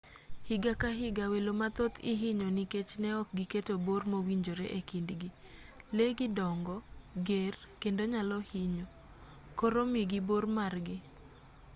higa ka higa welo mathoth ihinyo nikech neok giketo bor mowinjore ekindgi lee gi dongo ger kendo nyalo hinyo koro migi bor margi